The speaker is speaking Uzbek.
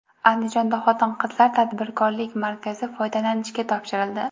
Andijonda Xotin-qizlar tadbirkorlik markazi foydalanishga topshirildi .